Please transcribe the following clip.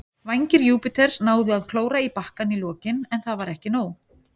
Vængir Júpiters náðu að klóra í bakkann í lokin, en það var ekki nóg.